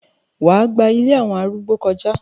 wà á gba “ ilé àwọn arúgbó ” kọjá?